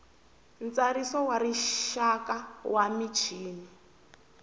ntsariso wa rixaka wa michini